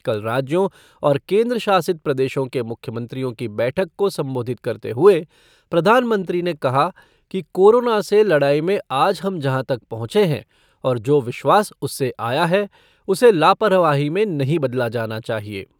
कल राज्यों और केन्द्रशासित प्रदेशों के मुख्यमंत्रियों की बैठक को संबोधित करते हुए प्रधानमंत्री ने कहा कि कोरोना से लड़ाई में आज हम जहाँ तक पहुंचे हैं और जो विश्वास उससे आया है, उसे लापरवाही में नहीं बदला जाना चाहिए।